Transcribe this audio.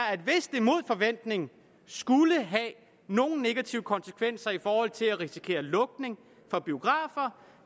at hvis det mod forventning skulle have nogen negative konsekvenser i forhold til at risikere lukning af biografer